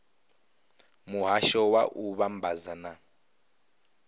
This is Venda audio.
muhasho wa u vhambadza na